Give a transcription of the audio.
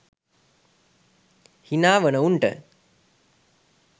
හිනා වන උන්ට